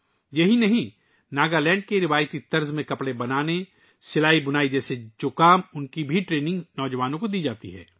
یہی نہیں، نوجوانوں کو ناگالینڈ کے روایتی انداز میں ملبوسات سازی، سلائی اور بُنائی کی تربیت بھی دی جاتی ہے